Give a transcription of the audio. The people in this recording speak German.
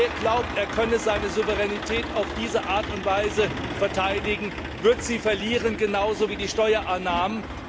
Wer glaubt, er könne seine Souveränität auf diese Art und Weise verteidigen, wird sie verlieren, genauso wie die Steuereinnahmen.